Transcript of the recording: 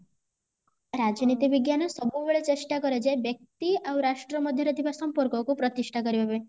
ରାଜନୀତି ବିଜ୍ଞାନ ସବୁବେଳେ ଚେଷ୍ଟା କରେ ଯ ବ୍ୟକ୍ତି ଆଉ ରାଷ୍ଟ୍ର ମଧ୍ୟ ରେ ଥିବା ସମ୍ପର୍କ କୁ ପ୍ରତିଷ୍ଠା କରିବା ପାଇଁ